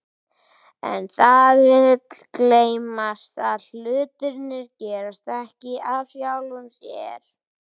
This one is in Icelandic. En það vill gleymast að hlutirnir gerast ekki af sjálfu sér.